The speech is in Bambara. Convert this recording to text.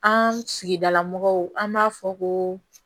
An sigidala mɔgɔw an b'a fɔ ko